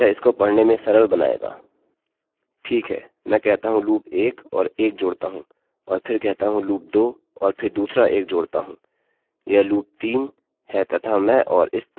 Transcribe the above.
ठीक है मैं कहता हूँ loop 1 और 1 जोडता हूँ और फिर कहता हूँ loop 2 और फिर दूसरा 1 जोड़ता हूँ; यह loop 3 है तथा मैं और इस तरह 1 से 10 तक जोड़ता हूँ